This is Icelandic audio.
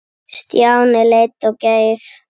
Stjáni leit á Geir.